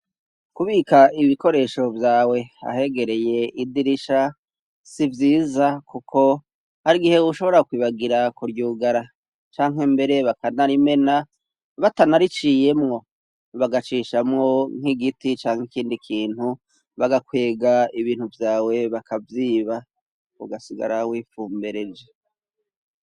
kubika ibikoresho vyawe ahegereye idirisha sivyiza kuko ari igihe ushobora kwibagira kuryugara canke mbere bakanarimena batanariciyemwo bagacishamwo nk'igiti cank ikindi kintu bagakwega ibintu vyawe bakavyiba ugasigara wifumbereje